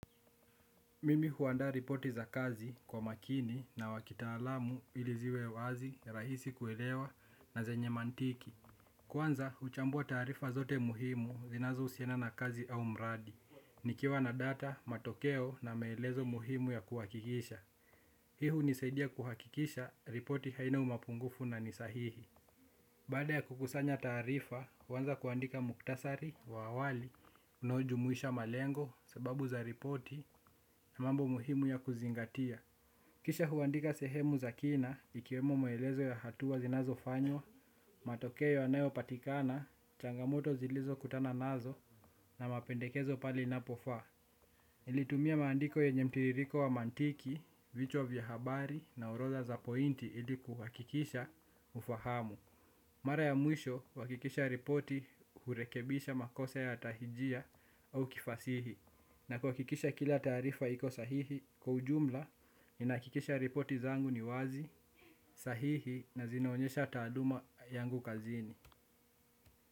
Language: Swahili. Mimi huanda ripoti za kazi kwa makini na wakitalamu iliziwe wazi, rahisi kuelewa na zenye mantiki. Kwanza, uchambua tarifa zote muhimu zinazo usiana na kazi au mradi, nikiwa na data, matokeo na maelezo muhimu ya kuwakikisha. Hi hunisaidia kuhakikisha ripoti haina umapungufu na nisahihi. Bada ya kukusanya tarifa, huanza kuandika muktasari wa awali, unojumuisha malengo, sababu za ripoti na mambo muhimu ya kuzingatia. Kisha huandika sehemu za kina, ikiwemo maelezo ya hatuwa zinazo fanywa, matokeo yanayo patikana, changamoto zilizo kutana nazo, na mapendekezo pali napofa. Ilitumia maandiko yenyemtiririko wa mantiki, vichwa vya habari, na uroda za pointi ilikuwakikisha, ufahamu. Mara ya mwisho wakikisha ripoti hurekebisha makosa ya tahijia au kifasihi. Na kuhakikisha kila taarifa iko sahihi. Kwa ujumla, ninahakikisha ripoti zangu ni wazi, sahihi na zinaonyesha taaluma yangu kazini.